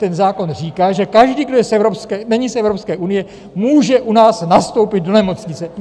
Ten zákon říká, že každý, kdo není z Evropské unie, může u nás nastoupit do nemocnice!